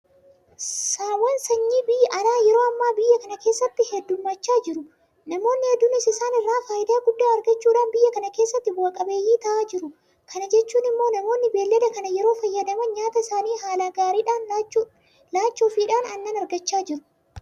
Saawwan sanyii biyya alaa yeroo ammaa biyya kana keessatti heddummachaa jiru. Namoonni hedduunis isaan irraa faayidaa guddaa argachuudhaan biyya kana keessatti bu'a qabeeyyii ta'aa jiru. Kana jechuun immoo namoonni beellada kana yeroo fayyadaman nyaata isaanii haala gaariidhaan laachuufiidhaan aannan argachaa jiru.